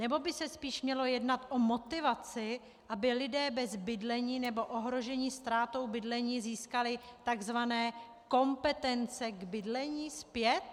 Nebo by se spíše mělo jednat o motivaci, aby lidé bez bydlení nebo ohrožení ztrátou bydlení získali takzvané kompetence k bydlení zpět?